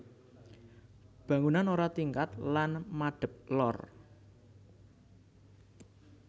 Bangunan ora tingkat lan madep lor